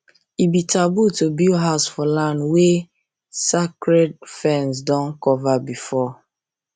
e be taboo to build house for land wey sacred ferns don cover before